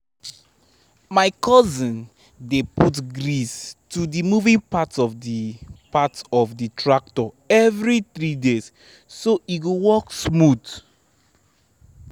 my cousin dey put grease to the moving parts of the parts of the tractor every three days so e go work smooth